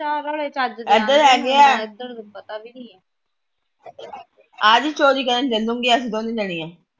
ਇਧਰ ਹੈਗੇ ਆ ਆਜੀ ਚੋਰੀ ਕਰਨ ਚਲੂਗੀਆਂ ਅਸੀ ਦੋਨੇ ਜਾਣੀਆ।